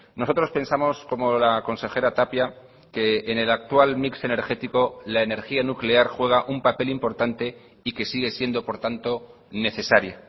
nosotros pensamos como la consejera tapia que en el actual mix energético la energía nuclear juega un papel importante y que sigue siendo por tanto necesaria